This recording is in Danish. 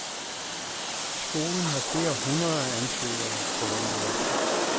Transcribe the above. Skolen har flere hundrede ansøgere på venteliste.